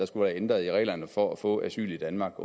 skulle være ændret i reglerne for at få asyl i danmark